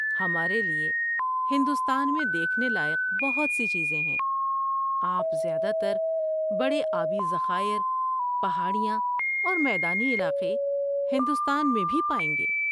ہمارے لیے ہندوستان میں دیکھنے لائق بہت سی چیزیں ہیں۔ آپ زیادہ تر بڑے آبی ذخائر، پہاڑیاں اور میدانی علاقے ہندوستان میں بھی پائیں گے۔